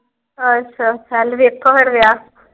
ਅੱਛਾ। ਚੱਲ ਵੇਖੋ ਫੇਰ ਵਿਆਹ।